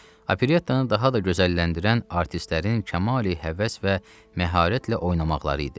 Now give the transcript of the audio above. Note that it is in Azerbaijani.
Operettanı daha da gözəlləndirən artistlərin kamali-həvəs və məharətlə oynamaqları idi.